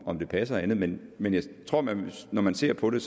om det passer og andet men men jeg tror at man når man ser på det